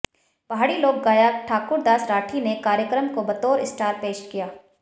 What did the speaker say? पहाड़ी लोक गायक ठाकुर दास राठी ने कार्यक्रम को बतौर स्टार पेश किया